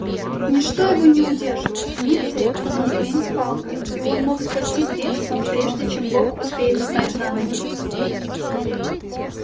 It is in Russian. ничто его не удерживало ни цепь ни ремень с палкой и он мог спастись бегством прежде чем бог успеет встать на ноги